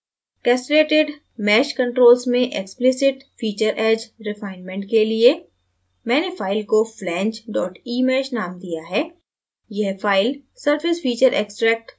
castellatedmeshcontrols में explicit feature edge refinement के लिए मैंने file को flange emesh name दिया है यह file surfacefeatureextract द्वारा प्राप्त की edge है